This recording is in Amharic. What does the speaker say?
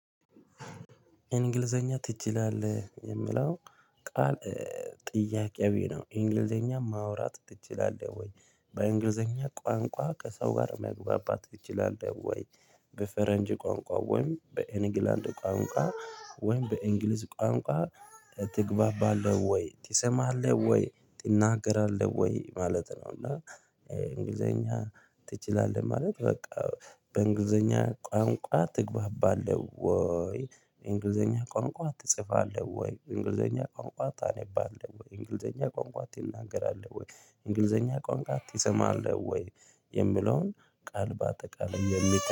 እንግሊዘኛ ትችላለህ? የሚለው ቃል ጥያቄያዊ ነው እንግሊዘኛ ማውራት ትችላለህ ወይ በእንግሊዘኛ ቋንቋ ከሰው ጋር መግባባት ትችላለህ ወይ በፈረንጅ ቋንቋ ወይም በእንግላንድ ቋንቋ ወይም በእንግሊዝ ቋንቋ ትግባባለህ ወይ ትሰማለህ ወይ ትናገራለህ ወይ ማለት ነው እና እንግሊዘኛ ትችላለህ ማለት በቃ በእንግሊዘኛ ቋንቋ ትግባባለህ ወይ፣ እንግሊዘኛ ቋንቋ ትጽፋለህ ወይ፣ እንግሊዘኛ ቋንቋ ታነባለህ ወይ፣ እንግሊዘኛ ቋንቋ ትናገራለህ ወይ፣ እንግሊዘኛ ቋንቋ ትሰማለህ ወይ የሚለውን ቃል በአጠቃላይ